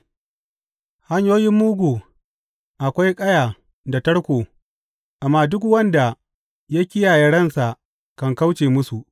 A hanyoyin mugu akwai kaya da tarko, amma duk wanda ya kiyaye ransa kan kauce musu.